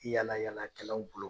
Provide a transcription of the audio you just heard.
Yaala yaala kɛlaw bolo